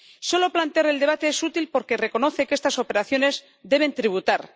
Solo plantear el debate es útil porque reconoce que estas operaciones deben tributar.